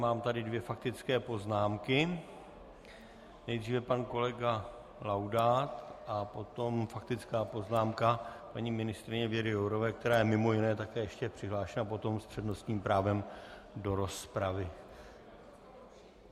Mám tady dvě faktické poznámky - nejdříve pan kolega Laudát a potom faktická poznámka paní ministryně Věry Jourové, která je mimo jiné také ještě přihlášena potom s přednostním právem do rozpravy.